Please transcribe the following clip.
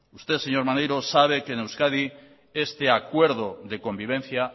usted señor maneiro sabe que en euskadi este acuerdo de convivencia